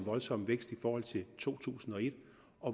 voldsom vækst i forhold til to tusind og et